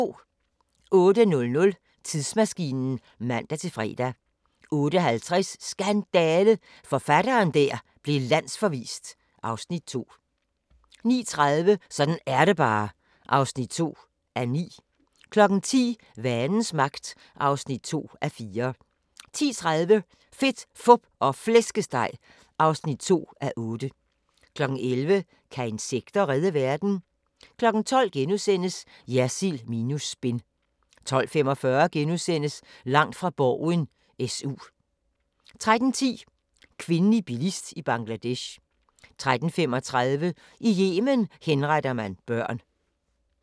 08:00: Tidsmaskinen (man-fre) 08:50: Skandale! – forfatteren der blev landsforvist (Afs. 2) 09:30: Sådan er det bare (2:9) 10:00: Vanens Magt (2:4) 10:30: Fedt, Fup og Flæskesteg (2:8) 11:00: Kan insekter redde verden? 12:00: Jersild minus spin * 12:45: Langt fra Borgen: SU * 13:10: Kvindelig bilist i Bangladesh 13:35: I Yemen henretter man børn